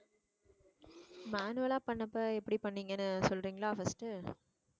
manual ஆ பண்ணப்ப எப்படி பண்ணீங்கன்னு சொல்றீங்களா first